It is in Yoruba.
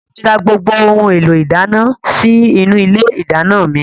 Mo ti rà gbogbo ohun èlò ìdáná sì inú ilé ìdáná mi.